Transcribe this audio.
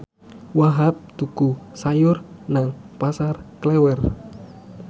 Wahhab tuku sayur nang Pasar Klewer